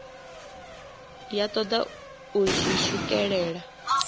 ya toda u zwi swikelela